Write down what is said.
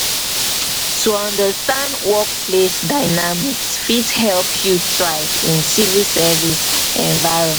to understand workplace dynamics fit help you thrive in civil service environment.